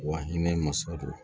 Wa hinɛ masa don